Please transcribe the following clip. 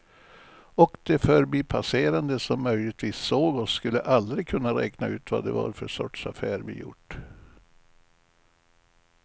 Och de förbipasserande som möjligtvis såg oss skulle aldrig kunna räkna ut vad det var för sorts affär vi gjort.